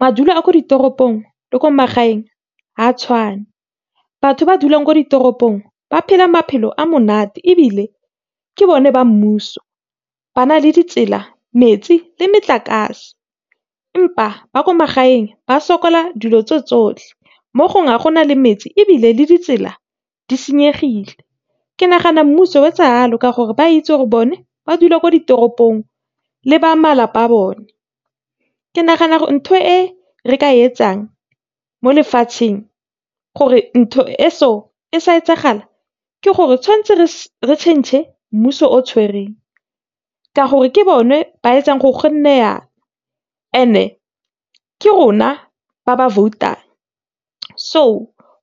Madulo a ko ditoropong le ko magaeng ga a tshwan, e batho ba dulang ko ditoropong ba phela maphelo a monate ebile ke bone ba mmuso ba na le ditsela, metsi le motlakase empa ba ko magaeng ba sokola dilo tseo tsotlhe mo gongwe ga gona le metsi ebile le ditsela di senyegileng. Ke nagana mmuso o etsa yalo ka gore ba itse go bone ba dula mo ditoropong le ba malapa a bone. Ke nagana ntho e re ka e etsang mo lefatsheng gore ntho e so e sa etsagala ke gore tshwantse re tšhentšhe mmuso o tshwereng ka gore ke bone ba etsang gore gonne yana and-e ke rona ba ba vote-ang so